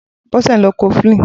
Bose n ló kọ̀flin